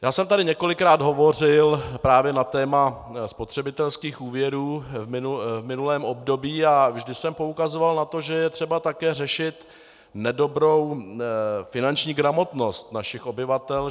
Já jsem tady několikrát hovořil právě na téma spotřebitelských úvěrů v minulém období a vždy jsem poukazoval na to, že je třeba také řešit nedobrou finanční gramotnost našich obyvatel.